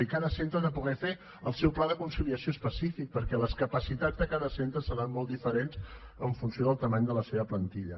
i cada centre ha de poder fer el seu pla de conciliació específic perquè les capacitats de cada centre seran molt diferents en funció de la mida de la seva plantilla